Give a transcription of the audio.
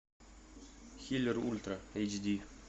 хиллер ультра эйч ди